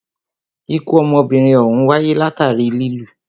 Ikú ọmọbìnrin òhún wáyé látàri lilù.